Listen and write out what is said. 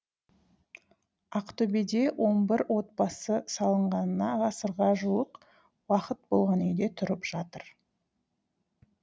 ақтөбеде он бір отбасы салынғанына ғасырға жуық уақыт болған үйде тұрып жатыр